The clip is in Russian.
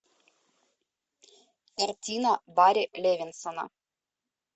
картина барри левинсона